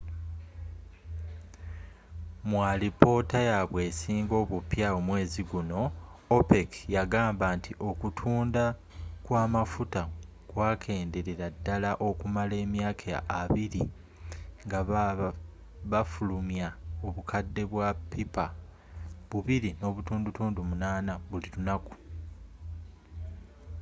mu alipoota yabwe esinga obupya omwezi guno opec yagamba nti okutunda kw'amafuta kwakenderedde ddala okumala emyaka abbiri nga bafulumya obukadde bwa pippa 2.8 buli lunaku